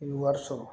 I bɛ wari sɔrɔ